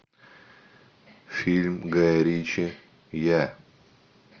фильм гая ричи я